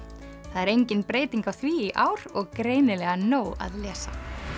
það er engin breyting á því í ár og greinilega nóg að lesa